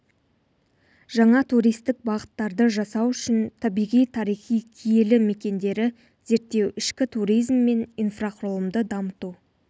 жаңа туристік бағыттарды жасау үшін табиғи тарихи киелі мекендері зерттеу ішкі туризм мен инфрақұрылымды дамыту